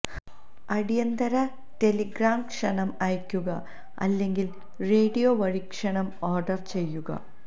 അടിയന്തിര ടെലിഗ്രാം ക്ഷണം അയയ്ക്കുക അല്ലെങ്കിൽ റേഡിയോ വഴി ക്ഷണം ഓർഡർ ചെയ്യുക